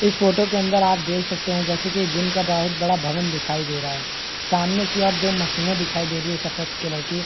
इस फोटो के अंदर देख सकते है जैसे कि जिम का बहुत बड़ा भवन दिखाई दे रहा है सामने की ओर दो मशीने दिखाई दे रही है सफेद कलर की --